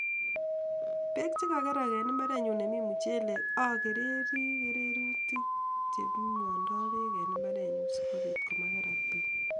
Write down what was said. Beek che kakerak en mbarenyu nemi muchelek akereri kererutik cheimondoi beek en mbarenyu sikobiit ko makerak beek.